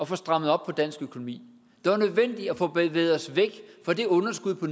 få strammet op på dansk økonomi det var nødvendigt at få bevæget os væk fra det underskud på